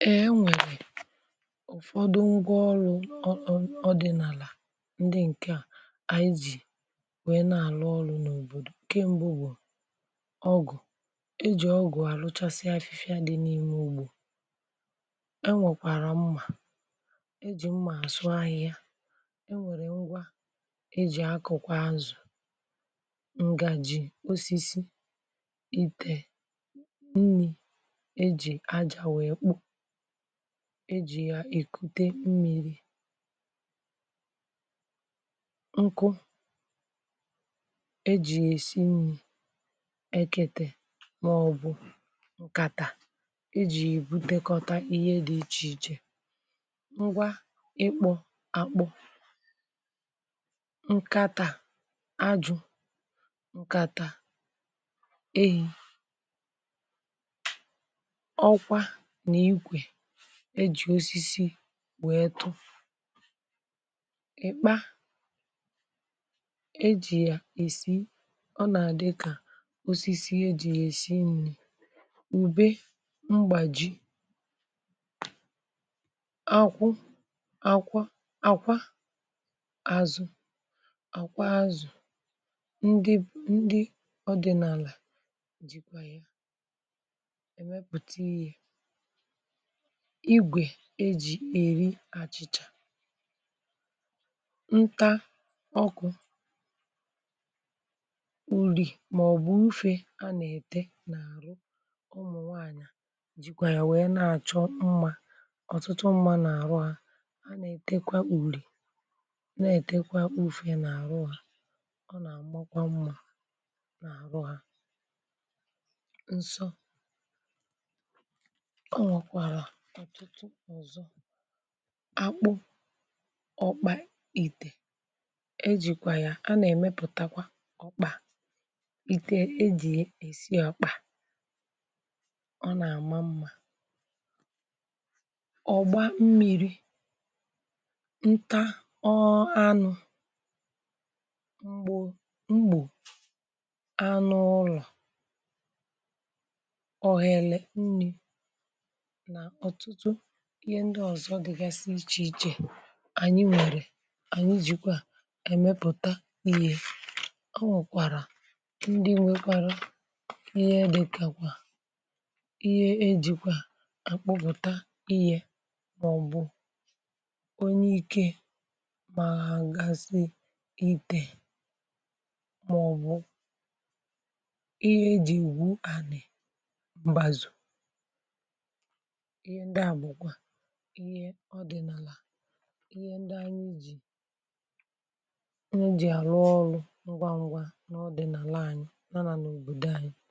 Eè e nwèrè ụ̀fọdụ ngwa ọrụ̇ um ọ dị̇ n’àlà ndị ǹkè a ànyị jì wèe na-àlụ ọrụ̇ n’òbòdò. Nkẹ̀ mbụ bụ̀ ọgụ̀, ejì ọgụ̀ àrụchasị afịfịa dị n’ime ugbȯ enwèkwàrà mmà ejì mmà asụ ahịhịa, e nwèrè ngwa ejì akụ̀ kwà azụ̀, ǹgàji osisi, ite nni ejì aja wéé kpụ̀ ejì yá ya èkute mmiri̇, nkụ ejì ya èsi nri, ekete màọ̀bụ̀ nkàtà ejì yá ebùtekọta ihé dị̇ ichè iche. Ngwá ịkpọ àkpụ, nkata ajụ̇, nkàtà ehì, ọkwá nà ikwe ejì osisi wéé kụ, ị̀kpa e jì yà èsi ọ nà-àdị kà osisi e jì yà èsi ǹri, ùbe mgbàji, akwụ àkwa àkwa azụ̀ ákwa azụ̀ ndị ndị ọdị̇nàlà ji kwà ya èmepụ̀ta ihé. Igwè e jì èri àchịchà, nta ọkụ̇, uri̇ màọ̀bụ̀ ufė a nà-ètė n’àrụ ụmụ̀ nwaànyà ji kwà yá wee na-àchọ mmȧ ọ̀tụtụ mmȧ n’àrụ ha. Hȧ nà-ètekwa uri̇ na-ètekwa ufe n’àrụ hȧ ọ nà-àmakwa mmȧ n’àrụ hȧ. Nsọ ònwèkwara ọtụtụ ọzọ akpụ, ọkpà itè ejìkwà ya a nà-èmepụ̀takwa ọkpà ite e jì èsi ọkpà ọ nà-àma mmà, ọ̀gba mmi̇ri̇, nta um anụ̇ m̀gbo m̀gbù anụ ụlọ̀, ohere nni nà ọtụtụ ihé ndị ọ̀zọ dịgasị ichè ichè ànyị nwèrè ànyị jìkwa èmepụ̀ta ihé. Ọ nwèkwàrà ndị nwekwara ihé dị kà kwa, ihé e jì kwà àkpọpụ̀ta ihé màọbụ̀ onyeike gbàhagasi itè màọbụ̀ ihé e ji̇ égwú ànì mbàzụ. Ihé ndị a bụ kwá ihé odinala ihé ndị anyị ji, anyị ji àrụ ọrụ̀ ngwa ngwa n’ọdịnàla ányị yá nà nà òbòdò ányị.